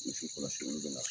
I k'i kɔlɔsi olu de la